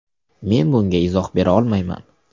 Men bunga izoh bera olmayman.